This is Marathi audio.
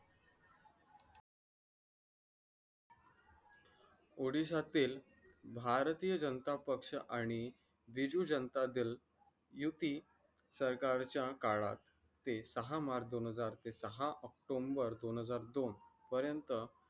odisha तील भारतीय जनता पक्ष आणि तेजू जनताजल युती सरकारच्या काळात ते सहा मार्च दोन हजार ते सहा ऑक्टोबर दोन हजार दोन पर्यंत